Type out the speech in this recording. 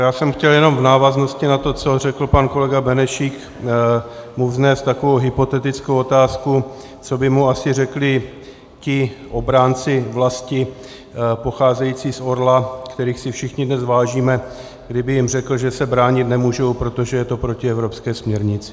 Já jsem chtěl jenom v návaznosti na to, co řekl pan kolega Benešík, mu vznést takovou hypotetickou otázku, co by mu asi řekli ti obránci vlasti pocházející z Orla, kterých si všichni dnes vážíme, kdyby jim řekl, že se bránit nemohou, protože je to proti evropské směrnici.